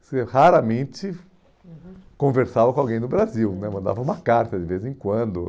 Você raramente, uhum, conversava com alguém no Brasil né, mandava uma carta de vez em quando.